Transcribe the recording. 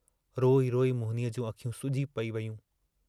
रोई रोई मोहिनीअ जूं अखियूं सुजी पेयूं हुयूं।